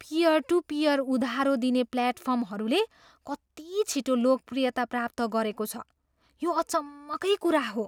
Peer to peer उधारो दिने प्लेटफर्महरूले कति छिटो लोकप्रियता प्राप्त गरेको छ, यो अचम्मकै कुरा हो।